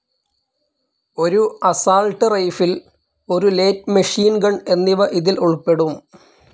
ഒരു assault rifle, ഒരു light machine gun എന്നിവ ഇതിൽ ഉൾപ്പെടും.